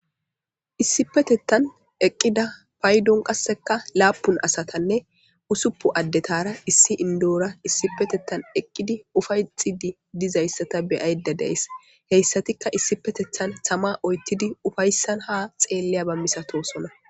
Issipetethan eqida payidon qaseka lapun asatane usupun adetara issi indazara isipetethan eqidi upayetidi be'ayidadays haysatika isiptethan tama oyithidi ha xelyaba misatosona